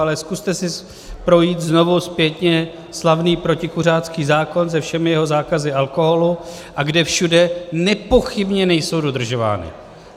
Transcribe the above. Ale zkuste si projít znovu zpětně slavný protikuřácký zákon se všemi jeho zákazy alkoholu, a kde všude nepochybně nejsou dodržovány.